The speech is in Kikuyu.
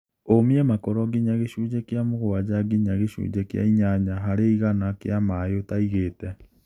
ũmia makoro nginya gĩcunjĩ kia mũgwanja nginya gĩcunjĩ kĩa inyanya harĩ igana kĩa maĩ ũtaigĩte.